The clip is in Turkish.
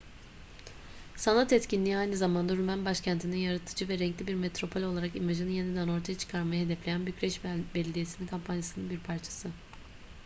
sanat etkinliği aynı zamanda rumen başkentinin yaratıcı ve renkli bir metropol olarak imajını yeniden ortaya çıkarmayı hedefleyen bükreş belediyesi'nin kampanyasının bir parçası